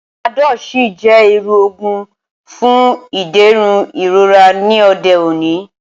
Panadọ́l sì jẹ́ irú òògùn fún ìdẹ̀rùn ìrora ní òde òní